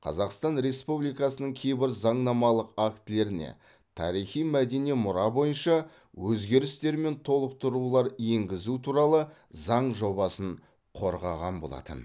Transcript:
қазақстан республикасының кейбір заңнамалық актілеріне тарихи мәдени мұра бойынша өзгерістер мен толықтырулар енгізу туралы заң жобасын қорғаған болатын